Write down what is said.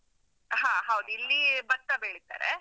ಹ ಹೌದು, ಇಲ್ಲಿ ಭತ್ತ ಬೆಳೀತಾರೆ.